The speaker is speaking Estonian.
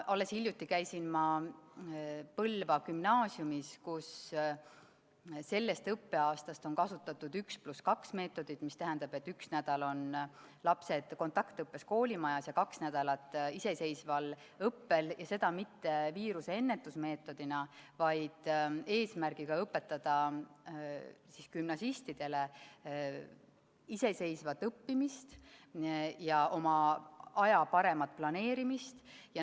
Alles hiljuti käisin ma Põlva Gümnaasiumis, kus sellest õppeaastast on kasutatud 1 + 2 meetodit, mis tähendab, et üks nädal on lapsed kontaktõppel koolimajas ja kaks nädalat iseseisval õppel, ja seda mitte viiruse ennetusmeetodina, vaid eesmärgiga õpetada gümnasistidele iseseisvat õppimist ja oma aja paremat planeerimist.